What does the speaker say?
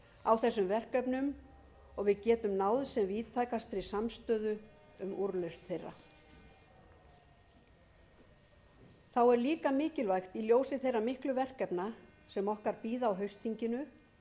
á þessum verkefnum og að við getum náð sem víðtækastri samstöðu um úrlausn þeirra þá er líka mikilvægt í ljósi þeirra miklu verkefna sem okkar bíða á haustþinginu